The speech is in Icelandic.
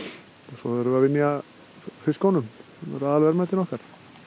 svo erum við að vinna í fiskunum sem eru aðalverðmætin okkar